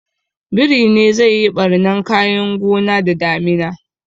Biri ne zai yi ɓarnan kayan gona da damina